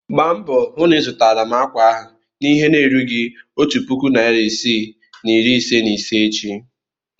Gba mbo hụ na ịzụtara m akwa ahụ n'ihe na-erughị otu puku naịra isii na iri ise na ise echi!